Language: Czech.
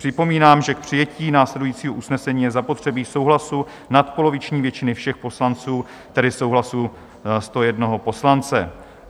Připomínám, že k přijetí následujícího usnesení je zapotřebí souhlasu nadpoloviční většiny všech poslanců, tedy souhlasu 101 poslance.